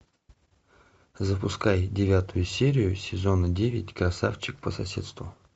запускай девятую серию сезона девять красавчик по соседству